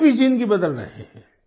उनकी भी ज़िंदगी बदल रहे हैं